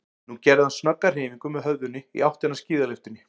Nú gerði hann snögga hreyfingu með höfðinu í áttina að skíðalyftunni.